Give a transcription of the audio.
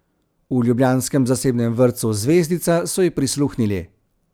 V ljubljanskem zasebnem vrtcu Zvezdica so ji prisluhnili.